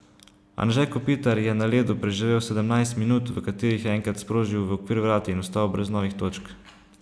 Anže Kopitar je na ledu preživel sedemnajst minut, v katerih je enkrat sprožil v okvir vrat in ostal brez novih točk.